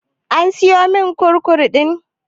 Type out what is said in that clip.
An siyomin kurkum ɗin?